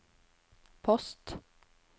post